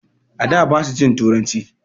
A da basu jin turanci.